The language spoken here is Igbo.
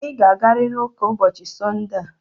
Ị ga-agarịrị ụka ụbọchị Sọnde a.